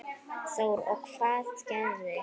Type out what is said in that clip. Þórir: Og hvað gerist?